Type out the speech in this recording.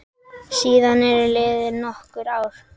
Síðan eru liðin nokkur ár.